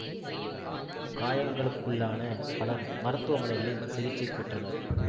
காயங்களுக்குள்ளான பலர் மருத்துவமனைகளில் சிகிச்சை பெற்றனர்